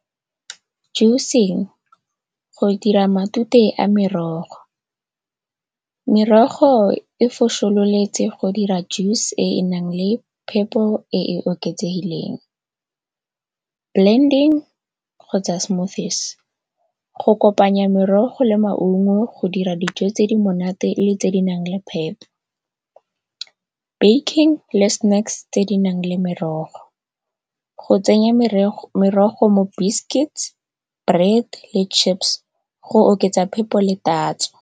Juice-ng go dira matute a merogo, merogo e fosololetse go dira juice e e nang le phepo e e oketsegileng. Blending kgotsa smoothies, go kopanya merogo le maungo go dira dijo tse di monate le tse di nang le phepo. Baking le snacks tse di nang le merogo. Go tsenya merogo mo biscuits, bread le chips go oketsa phepo le tatso.